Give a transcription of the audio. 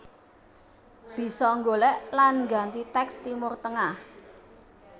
Bisa golek lan ngganti teks Timur Tengah